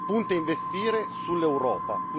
Punta a investire sull'Europa.